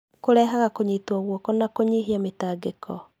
Kũrehaga kũnyitwo guoko na kũnyihia mĩtangĩko.